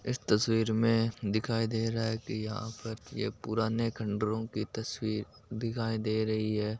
इस तस्वीर में नजर आ रहा है की यहा पर यह तस्वीर एक बहुत बड़ी बैंक नजर आ रही है।